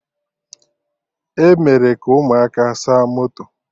Emere ka ụmụaka saa moto